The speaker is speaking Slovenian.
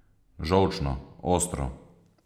Žolčno, ostro.